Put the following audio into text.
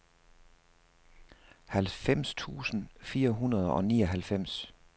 halvfems tusind fire hundrede og nioghalvfems